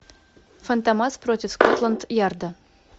фантомас против скотланд ярда